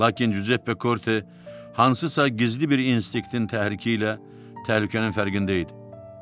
Lakin Cüzeppe Korte hansısa gizli bir instinktin təhriki ilə təhlükənin fərqində idi.